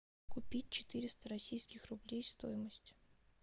купить четыреста российских рублей стоимость